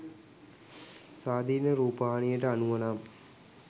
ස්වාධීන රූපවාහිනියට අනුව නම්